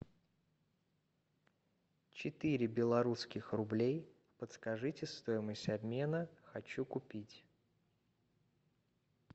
четыре белорусских рублей подскажите стоимость обмена хочу купить